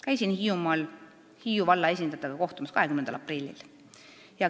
Käisin Hiiumaal vallaesindajatega kohtumas 20. aprillil.